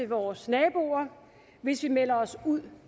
vores naboer hvis vi melder os ud